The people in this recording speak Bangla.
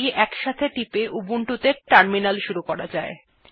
CtrlaltT একসাথে টিপে উবুন্টু ত়ে টার্মিনাল শুরু করা যায়